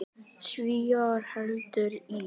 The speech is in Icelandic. Svíar héldu í